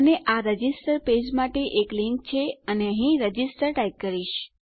અને આ register page માટે એક લીંક છે અને અહીં રજિસ્ટર ટાઈપ કરીશ